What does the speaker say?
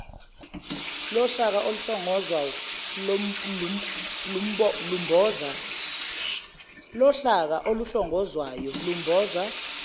lohlaka oluhlongozwayo lumboza